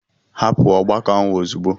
Hapụ ọgbakọ ahụ ozugbo.